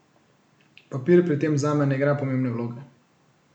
Papir pri tem zame ne igra pomembne vloge.